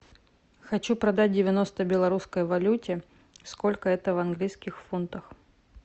хочу продать девяносто белорусской валюте сколько это в английских фунтах